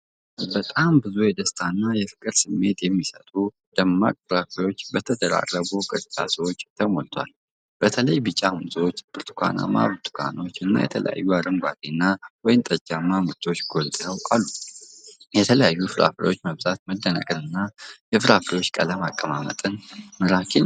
በጣም ብዙ የደስታ እና ፍቅር ስሜት የሚሰጡ ደማቅ ፍራፍሬዎች በተደራረቡ ቅርጫቶች ተሞልተዋል። በተለይ ቢጫ ሙዞች፣ ብርቱካናማ ብርቱካኖች፣ እና የተለያዩ አረንጓዴና ወይንጠጃማ ምርቶች ጎልተው አሉ። የተለያዩ ፍራፍሬዎች መብዛት መደነቅን እና የፍራፍሬዎቹ ቀለም አቀማመጥ በጣም ማራኪ ነው።